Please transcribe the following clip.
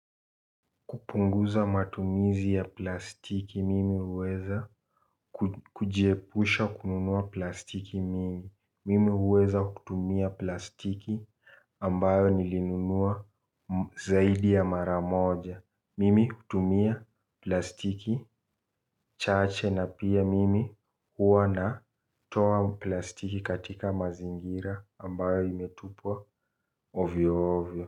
Kupunguza matumizi ya plastiki mimi huweza kujiepusha kununua plastiki mimi. Mimi huweza kutumia plastiki ambayo nilinunua zaidi ya mara moja. Mimi hutumia plastiki chache na pia mimi huwa na toa plastiki katika mazingira ambayo imetupwa ovyo ovyo.